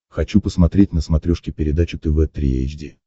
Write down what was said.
хочу посмотреть на смотрешке передачу тв три эйч ди